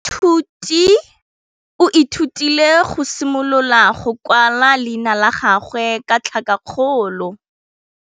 Moithuti o ithutile go simolola go kwala leina la gagwe ka tlhakakgolo.